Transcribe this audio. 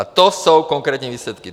A to jsou konkrétní výsledky.